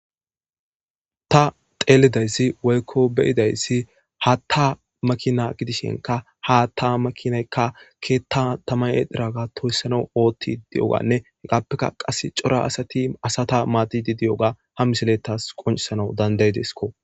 ta xeelidayssi woykko beyidayssi haatta makina gidishinka hatta makinaykka keetta tamay7ediraga toyssana oothidi di7oganne hegaappeka qas cora asati asata maadidi di7oga ha misilettas qoncisanau danday desiko